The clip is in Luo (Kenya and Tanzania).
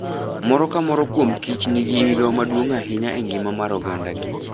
Moro ka moro kuom kich nigi migawo maduong' ahinya e ngima mar ogandagi.